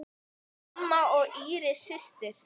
Mamma og Íris systir.